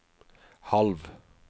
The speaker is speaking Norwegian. halv